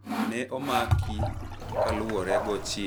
Ne omaki kaluwore go chich ni okwalo jang'iepo mag Webuye